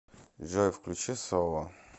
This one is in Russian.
джой включи соло